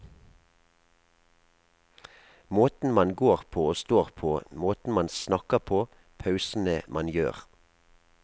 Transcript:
Måten man går på og står på, måten man snakker på, pausene man gjør.